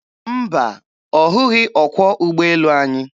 Mba, ọ hụghị ọkwọ ụgbọelu anyị.